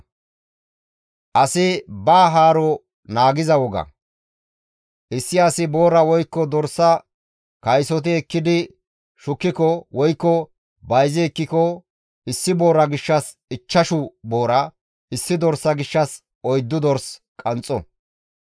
«Issi asi boora woykko dorsa kaysoti ekkidi shukkiko, woykko bayzi ekkiko, issi boora gishshas ichchashu boora, issi dorsa gishshas oyddu dors qanxxo.